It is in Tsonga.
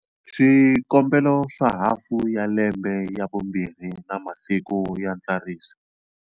Swikombelo swa hafu ya lembe ya vumbirhi na masiku ya ntsariso.